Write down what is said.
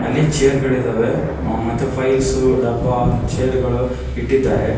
ಇಲ್ಲಿ ಚೇರ್ ಗಳ ಇದ್ದಾವೆ ಮತ್ತು ಫೈಲ್ಸ್ ಡಬ್ಬಾ ಚೇರ್ ಗಳ ಇಟ್ಟಿದ್ದಾರೆ.